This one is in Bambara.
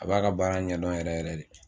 A b'a ka baara ɲɛdɔn yɛrɛ yɛrɛ de